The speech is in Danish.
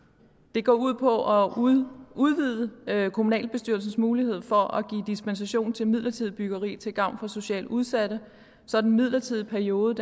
det går ud på at udvide udvide kommunalbestyrelsens mulighed for at give dispensation til midlertidigt byggeri til gavn for socialt udsatte så den midlertidige periode